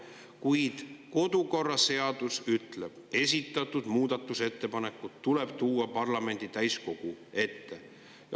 Kuid kodukorraseadus ütleb: esitatud muudatusettepanekud tuleb tuua parlamendi täiskogu ette.